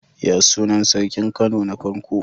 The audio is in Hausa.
Yaya sunan sarkin Kano na farko?